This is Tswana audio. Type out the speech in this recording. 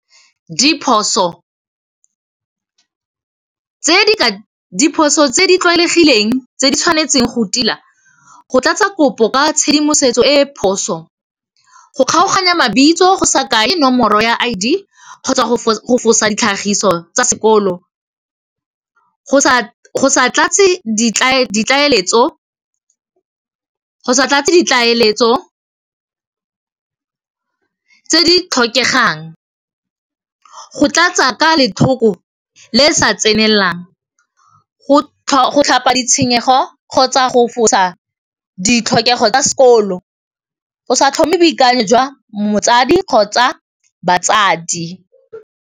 Diphoso tse di tlwaelegileng tse di tshwanetseng go tila, go tlatsa kopo ka tshedimosetso e e phoso, go kgaoganya mabitso go sa kae nomoro ya I_D kgotsa go fosa tlhagiso tsa sekolo, go sa tlatse ditlaeletso tse di tlhokegang. Go tlatsa ka lethoko le sa tsenelang, go tlhapa ditshenyego kgotsa go fosa ditlhokego tsa sekolo, go sa tlhome boikanyo jwa motsadi kgotsa batsadi.